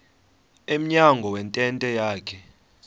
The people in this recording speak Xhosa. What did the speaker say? emnyango wentente yakhe